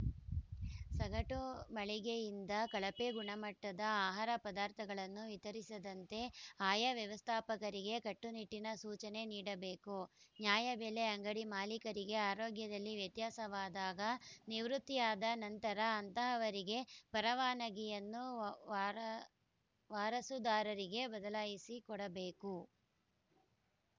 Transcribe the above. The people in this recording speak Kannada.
ಸಗಟು ಮಳಗೆಯಿಂದ ಕಳಪೆ ಗುಣಮಟ್ಟದ ಆಹಾರ ಪದಾರ್ಥಗಳನ್ನು ವಿತರಿಸದಂತೆ ಆಯಾ ವ್ಯವಸ್ಥಾಪಕರಿಗೆ ಕಟ್ಟುನಿಟ್ಟಿನ ಸೂಚನೆ ನೀಡಬೇಕು ನ್ಯಾಯಬೆಲೆ ಅಂಗಡಿ ಮಾಲೀಕರಿಗೆ ಆರೋಗ್ಯದಲ್ಲಿ ವ್ಯತ್ಯಾಸವಾದಾಗ ನಿವೃತ್ತಿಯಾದ ನಂತರ ಅಂತಹವರ ಪರವಾನಗಿಯನ್ನು ವಾರ ವಾರಸುದಾರರಿಗೆ ಬದಲಿಸಿಕೊಡಬೇಕು